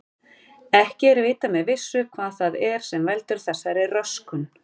Ekki er vitað með vissu hvað það er sem veldur þessari röskun.